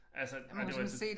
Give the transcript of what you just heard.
Altså og det var sådan